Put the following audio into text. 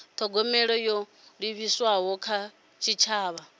thogomela ho livhiswaho kha tshitshavha